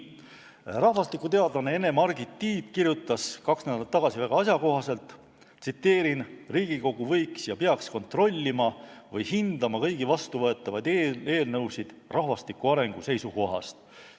Rahvastikuteadlane Ene-Margit Tiit kirjutas kaks nädalat tagasi väga asjakohaselt: "Riigikogu võiks ja peaks kontrollima või hindama kõiki vastuvõetavaid eelnõusid rahvastiku arengu seisukohast.